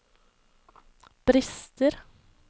brister